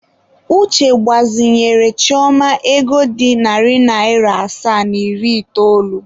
Uche gbazinyere Chioma ego dị narị naịra asaa na iri itoolu.